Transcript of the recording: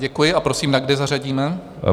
Děkuji a prosím, na kdy zařadíme?